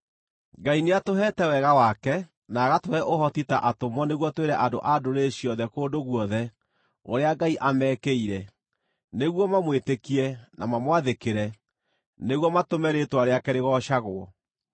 kũgerera we Ngai nĩatũheete wega wake, na agatũhe ũhoti ta atũmwo nĩguo twĩre andũ-a-Ndũrĩrĩ ciothe kũndũ guothe ũrĩa Ngai amekĩire, nĩguo mamwĩtĩkie na mamwathĩkĩre, nĩguo matũme rĩĩtwa rĩake rĩgoocagwo.